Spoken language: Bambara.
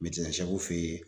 fe yen.